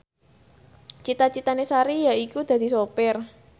cita citane Sari yaiku dadi sopir